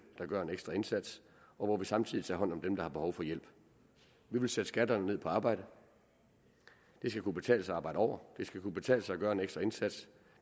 der gør en ekstra indsats og hvor vi samtidig tager hånd om dem der har behov for hjælp vi vil sætte skatterne ned på arbejde det skal kunne betale sig at arbejde over det skal kunne betale sig at gøre en ekstra indsats